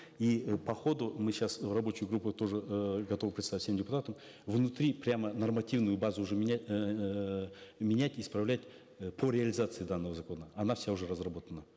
и э по ходу мы сейчас рабочую группу тоже э готовы представить всем депутатам внутри прямо нормативную базу уже эээ менять исправлять э по реализации данного закона она вся уже разработана